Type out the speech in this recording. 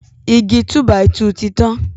Igi túbàìtù ti tán.